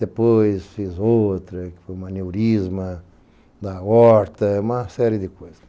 Depois fiz outra, que foi um aneurisma da horta, uma série de coisas.